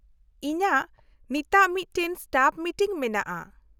-ᱤᱧᱟᱹᱜ ᱱᱤᱛᱟᱹᱜ ᱢᱤᱫᱴᱟᱝ ᱥᱴᱟᱯᱷ ᱢᱤᱴᱤᱝ ᱢᱮᱱᱟᱜᱼᱟ ᱾